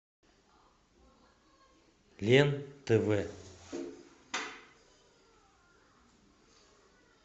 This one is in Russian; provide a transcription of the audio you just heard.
лен тв